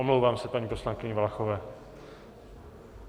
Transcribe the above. Omlouvám se, paní poslankyni Valachové.